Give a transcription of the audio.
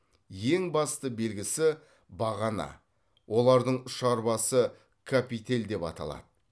ең басты белгісі бағана олардың ұшар басы капитель деп аталады